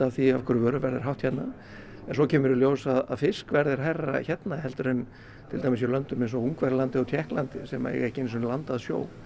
því af hverju vöruverð er hátt hérna en svo kemur í ljós að fiskverð er hærra hérna en til dæmis í löndum eins og Ungverjalandi og Tékklandi sem eiga ekki einu sinni land að sjó